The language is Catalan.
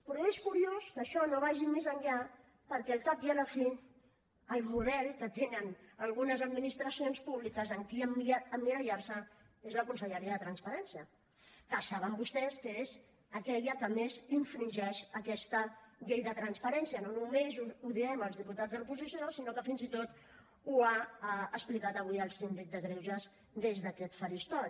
però és curiós que això no vagi més enllà perquè al cap i a la fi el model que tenen algunes administracions públiques en qui emmirallar se és la conselleria de transparència que saben vostès que és aquella que més infringeix aquesta llei de transparència no només ho diem els diputats de l’oposició sinó que fins i tot ho ha explicat avui el síndic de greuges des d’aquest faristol